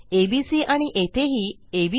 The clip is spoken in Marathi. एबीसी आणि येथेही एबीसी